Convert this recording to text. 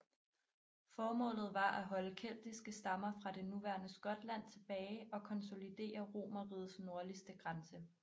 Formålet var at holde keltiske stammer fra det nuværende Skotland tilbage og konsolidere Romerrigets nordligste grænse